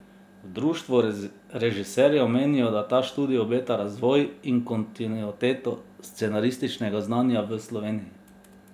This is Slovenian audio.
V društvu režiserjev menijo, da ta študij obeta razvoj in kontinuiteto scenarističnega znanja v Sloveniji.